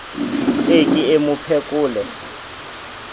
e ke e mo phekole